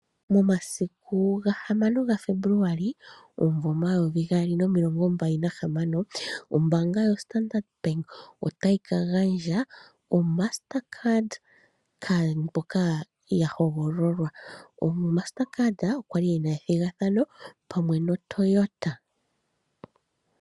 Momasiku ga hamano ga February omvo omayovi gaali nomilongo mbali nahamano ombaanga yo Standard Bank otayi ka gandja o master card kaantu mboka ya hogololwa. O Master card okwali ena ethigathano pamwe noToyota.